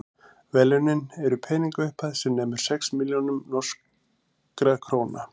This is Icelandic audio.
verðlaunin eru peningaupphæð sem nemur sex milljónum norskra króna